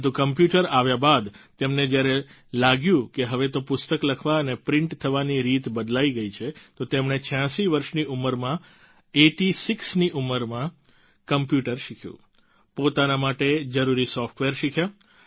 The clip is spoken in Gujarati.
પરંતુ કોમ્પ્યુટર આવ્યા બાદ તેમને જ્યારે લાગ્યું કે હવે તો પુસ્તક લખવા અને પ્રિન્ટ થવાની રીત બદલાઈ ગઈ છે તો તેમણે 86 વર્ષની ઉંમરમાં આઇટી સિક્સ ની ઉંમરમાં કોમ્પ્યુટર શીખ્યું પોતાના માટે જરૂરી સોફ્ટવેર શીખ્યા